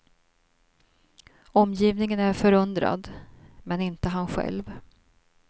Omgivningen är förundrad, men inte han själv.